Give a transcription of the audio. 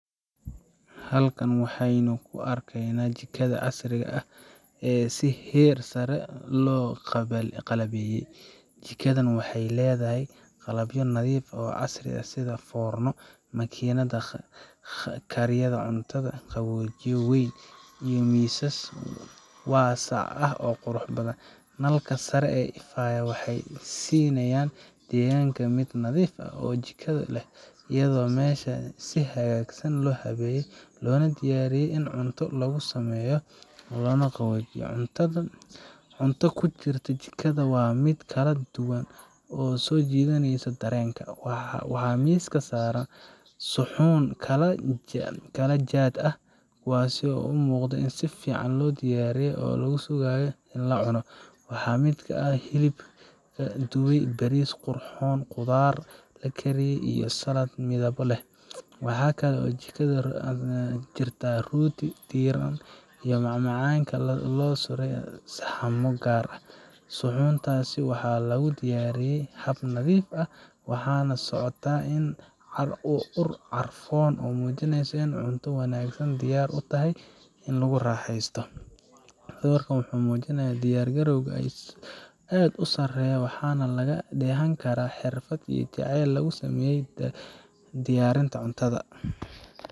Halkan waxan ku arkeyna jiko casrii ah, Jikadu waa qayb muhiim ah oo ka mid ah guriga, waxayna leedahay qalab fara badan oo fududeeya diyaarinta cuntada, sida saxamada kala duwan oo laga sameeyo dhoobo, bir ama caag, kuwaasoo loo adeegsado cunto saaridda, sidoo kale waxaa jirta foorno koronto ah oo cuntada lagu dubo, mararka qaarna foorno gaas ah ayaa la isticmaalaa, waxaana jira digsiyo noocyo kala duwan leh sida digsiga birta culus, digsiga aan shiilanaynin, iyo digsiga faleebo lagu sameeyo, waxaa intaa dheer mindiyo fiiqan oo cunto jarista loogu talagalay, qaaddooyin iyo fargeetooyin laga sameeyay birta ahama, kuwaas oo laga isticmaalo cunista iyo karinta labadaba, blender lagu qaso miraha ama khudaarta, makiinad kafee sameysa, baaquliyo kala cabbir ah, marsho ama miis lagu diyaariyo cuntooyinka, faleebooyin kala nooc ah sida kuwa bariiska lagu sameeyo iyo kuwa suugada, dhalooyin lagu shubo cabitaanada, baasto sameeye, iyo qalabyo yaryar sida shiidiye toonta, burjiko, iyo saxaarad khudaar lagu dhaqdo, taasoo dhammaan kor u qaada habsami u socodka howlaha jikada.